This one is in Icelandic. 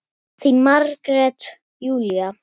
Þín Margrét Júlía.